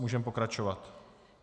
Můžeme pokračovat.